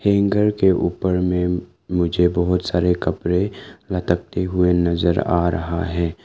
एक घर के ऊपर में मुझे बहोत सारे कपड़े लटकते हुए नजर आ रहा है।